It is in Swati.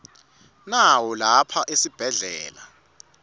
nawo lapha esibhedlela